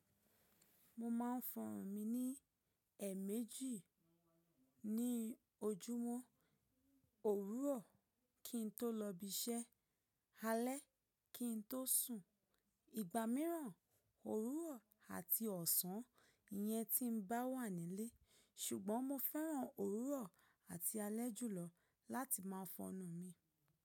Mo ma ń fọnrùn mi ní èmejì ní ojúmọ́. Òwùrọ̀ kin tó lọ ibi iṣẹ́, alẹ́ kin tó sùn. Ìgbà mìíràn, òwùrọ̀ àti ọ̀sán, ìyẹn tí n bá wà nílé. Sùgbọ́n mo fẹ́ràn òwùrọ̀ àti alẹ́ jùlọ láti máa fọnnù mi.